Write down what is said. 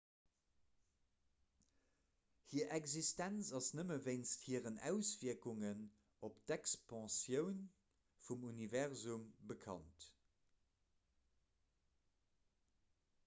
hir existenz ass nëmme wéinst hiren auswierkungen op d'expansioun vum universum bekannt